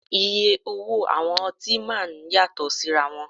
Iye owó àwọn ọtí máa ń yàtọ̀ síra wọn